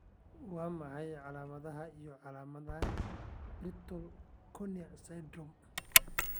Waa maxay calaamadaha iyo calaamadaha Brittle cornea syndrome?